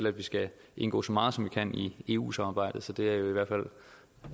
at vi skal indgå så meget som vi kan i eu samarbejdet for det er i hvert fald